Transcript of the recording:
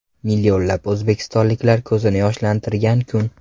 Millionlab o‘zbekistonliklar ko‘zini yoshlantirgan kun.